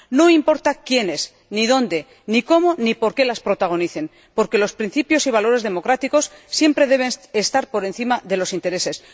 No importa quiénes, ni dónde, ni cómo, ni por qué las protagonicen, porque los principios y valores democráticos siempre deben estar por encima de los intereses.